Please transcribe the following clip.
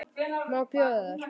Má bjóða þér?